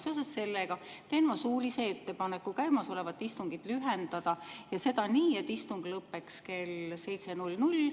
Seoses sellega teen ma suulise ettepaneku käimasolevat istungit lühendada nii, et istung lõppeks kell 7.00.